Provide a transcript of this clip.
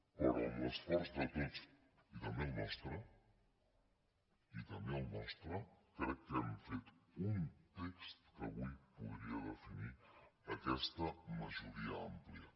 però amb l’esforç de tots i també el nostre i també el nostre crec que hem fet un text que avui podria definir aquesta majoria àmplia